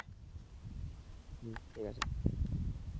হম ঠিক আছে।